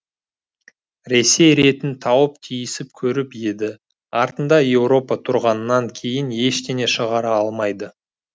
ресей ретін тауып тиісіп көріп еді артында еуропа тұрғаннан кейін ештеңе шығара алмайды